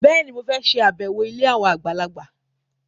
Bẹ́ẹ̀ni, mo fẹ́ ṣàbẹ̀wọ̀ ilé àwọn àgbàlagbà